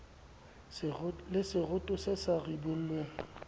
le seroto se sa ribollweng